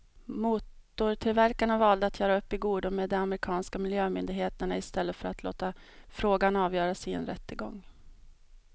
Motortillverkarna valde att göra upp i godo med de amerikanska miljömyndigheterna i stället för att låta frågan avgöras i en rättegång.